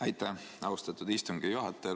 Aitäh, austatud istungi juhataja!